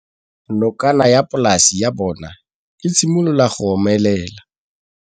Nokana ya polase ya bona, e simolola go omelela.